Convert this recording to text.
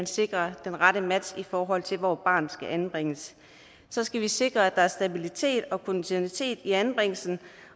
sikrer den rette match i forhold til hvor et barn skal anbringes så skal vi sikre at der er stabilitet og kontinuitet i anbringelsen